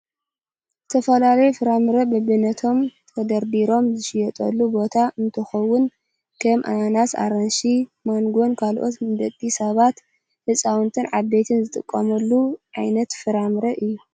ዝተፈላለዩ ፍራምረ በቢናቶም ተደሪዲሮም ዝሽየጠሉ ቦታ እንትከውን፣ ከም ኣናናስን ኣራንሽን፣ ማንጎን ካልኦት ንደቂ ሰባት ህፃውንቲን ዓበይትን ዝጥቀሙሉ ዓይነት ፍራምረ እዩ።